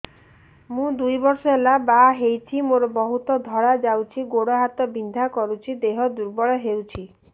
ମୁ ଦୁଇ ବର୍ଷ ହେଲା ବାହା ହେଇଛି ମୋର ବହୁତ ଧଳା ଯାଉଛି ଗୋଡ଼ ହାତ ବିନ୍ଧା କରୁଛି ଦେହ ଦୁର୍ବଳ ହଉଛି